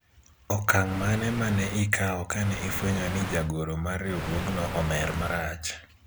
okang' mane mane ikawo kane ifwenyo ni jagoro mar riwruogno omer marach